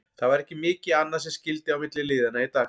Það var ekki mikið annað sem skyldi á milli liðanna í dag.